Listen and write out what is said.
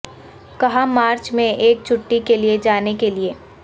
کہاں مارچ میں ایک چھٹی کے لئے جانے کے لئے